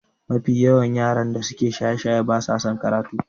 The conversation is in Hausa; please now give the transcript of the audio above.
Mafi yawa yaran da suke shaye-shaye ba sa karatu